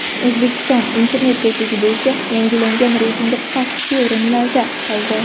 O‘zbekiston internet tezligi bo‘yicha yangilangan reytingda pastki o‘rinlarda qoldi.